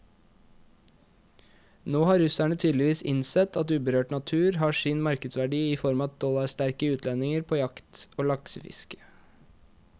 Nå har russerne tydeligvis innsett at uberørt natur har sin markedsverdi i form av dollarsterke utlendinger på jakt og laksefiske.